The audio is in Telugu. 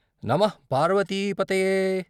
నమః పార్వతీ పతయే....